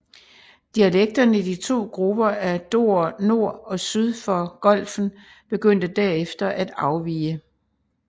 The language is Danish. Dialekterne i de to grupper af dorere nord og syd for Golfen begyndte derefter at afvige